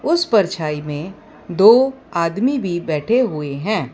उस परछाई में दो आदमी भी बैठे हुए हैं।